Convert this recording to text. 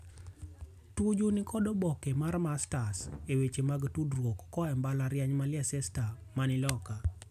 Tuju nikod oboke mar Masters e weche mag tudrwok koa e mbalariany ma Leicetser mani loka.